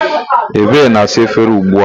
Ebe na-asa efere ugbu a.